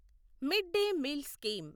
mid day meal scheme